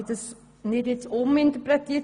Ich habe das nicht uminterpretiert.